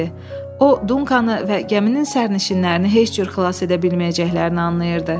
O Dunkanı və gəminin sərnişinlərini heç cür xilas edə bilməyəcəklərini anlayırdı.